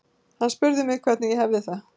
Hann spurði mig hvernig ég hefði það.